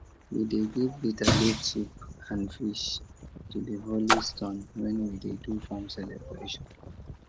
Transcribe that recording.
we dey give bitterleaf soup and fish to the holy stone when we dey do farm celebration